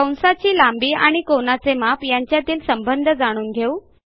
कंसाची लांबी आणि कोनाचे माप यांच्यातील संबंध जाणून घेऊ